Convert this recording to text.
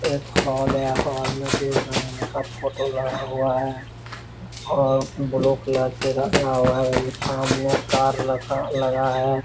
एक हॉल है हॉल में दुर्गा माँ का फोटो लगा हुआ है और ब्लू कलर से रंगा हुआ है वहीं सामने कार रखा लगा है।